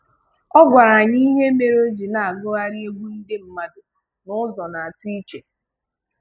Ọ gwara anyị ihe mere o ji na-agugharị egwu ndị mmadụ n'ụzọ na-atọ chi.